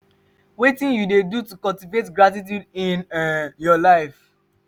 wetin you dey do to cultivate gratituude in um your life?